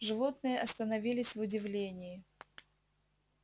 животные остановились в удивлении